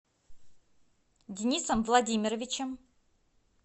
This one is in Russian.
денисом владимировичем